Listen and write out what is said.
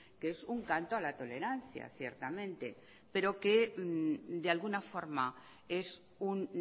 que es un canto a la tolerancia ciertamente pero que de alguna forma es un